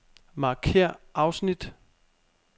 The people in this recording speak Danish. Markér afsnit.